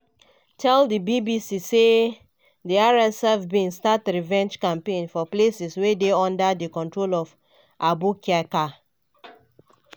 tell di bbc say "di rsf bin start revenge campaign for places wey dey under di control of abu kayka.